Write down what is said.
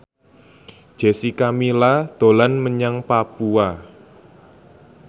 Jessica Milla dolan menyang Papua